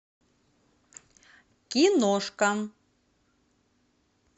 киношка